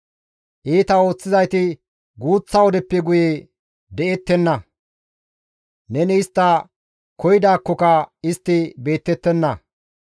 Iita ooththizayti guuththa wodeppe guye de7ettenna; neni istta koyidaakkoka istti beettettenna.